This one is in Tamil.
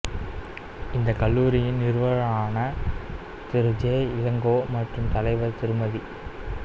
இந்தக் கல்லூரியின் நிறுவனரான திரு ஜே இளங்கோ மற்றும் தலைவர் திருமதி